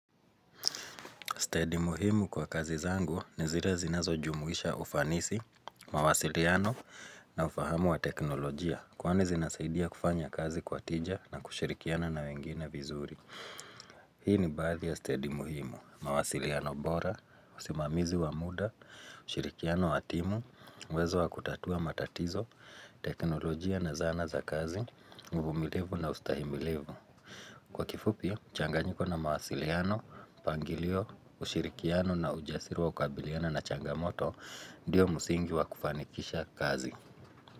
Stadi muhimu kwa kazi zangu ni zile zinazojumuisha ufanisi, mawasiliano na ufahamu wa teknolojia. Kwani zinasaidia kufanya kazi kwa tija na kushirikiana na wengine vizuri. Hii ni baadhi ya stadi muhimu. Mawasiliano bora, usimamizi wa muda, ushirikiano wa timu, uwezo wa kutatua matatizo, teknolojia na zana za kazi, uvumilivu na ustahimilivu. Kwa kifupi, mchanganyiko na mawasiliano, mpangilio, ushirikiano na ujasiri wa kukabiliana na changamoto Ndiyo msingi wa kufanikisha kazi.